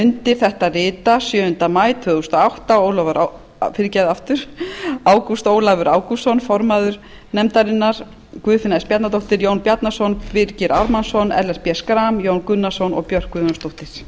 undir þetta rita sjöunda maí tvö þúsund og átta ágúst ólafur ágústsson form guðfinna s bjarnadóttir jón bjarnason birgir ármannsson ellert b schram jón gunnarsson og björk